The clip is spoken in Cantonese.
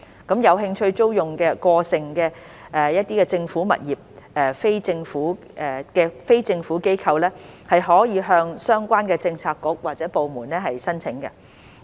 有興趣租用過剩政府物業的非政府機構可向相關政策局或部門申請。